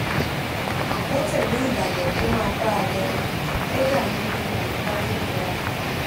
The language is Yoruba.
ó tẹlé ìlànà kó má bà á lò kódà nínú àyíká tó nira